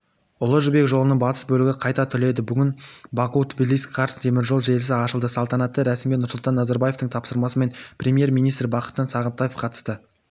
ұлы жібек жолының батыс бөлігі қайта түледі бүгін баку-тбилиси-карс теміржол желісі ашылды салтанатты рәсімге нұрсұлтан назарбаевтың тапсырмасымен премьер-министр бақытжан сағынтаев қатысты